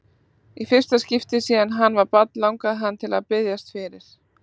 Í fyrsta skipti síðan hann var barn langaði hann til að biðjast fyrir.